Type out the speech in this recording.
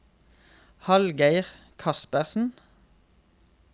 Hallgeir Kaspersen